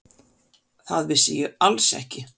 Það vissi ég alls ekki.